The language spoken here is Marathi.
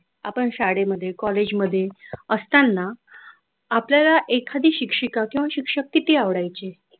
आपण शाळेमध्ये कॉलेजमध्ये असताना आपल्याला एखादी शिक्षक किंवा शिक्षिका किती आवडायचे.